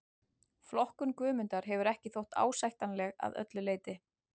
Flokkun Guðmundar hefur ekki þótt ásættanleg að öllu leyti.